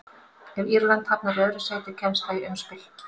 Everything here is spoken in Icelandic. Ef Írland hafnar í öðru sæti kemst það í umspil.